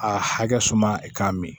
A hakɛ suma k'a mi